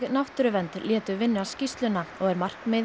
náttúruvernd létu vinna skýrsluna og er markmið